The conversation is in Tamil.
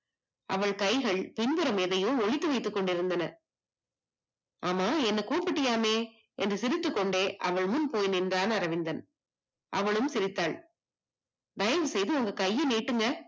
அவள் கைகள் பின்புறம் எதையோ ஒளித்து வைத்து கொண்டிருந்தன. ஆமா எண்ணை கூப்பிட்டயாமே என்று சிறுத்து கொண்டே அவள் முன்போய் நின்றான் அரவிந்தன், அவளும் சிரித்தால், தயவுசெய்து உங்க கைய நீட்டுங்க